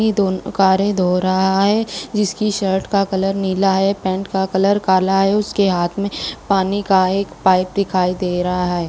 दोनों कारें धो रहा है जिसकी शर्ट का कलर नीला है पैंट का कलर काला है उसके हाथ में पानी का एक पाइप दिखाई दे रहा है।